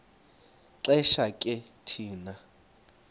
xesha ke thina